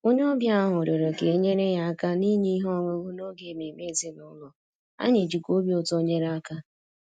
Onye ọbịa ahụ rịọrọ ka e nyere ya aka n’inye ihe ọṅụṅụ n’oge ememe ezinụlọ, anyị jikwa obi ụtọ nyere aka